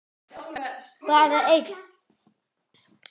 Bara einn.